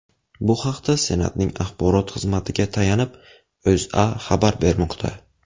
Bu haqda Senatning axborot xizmatiga tayanib, O‘zA xabar bermoqda .